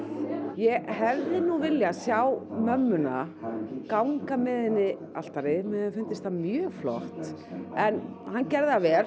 ég hefði nú viljað sjá mömmuna ganga með henni altarinu mér hefði fundist það mjög flott en hann gerði það vel